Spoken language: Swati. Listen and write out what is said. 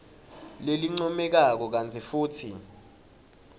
lelincomekako kantsi futsi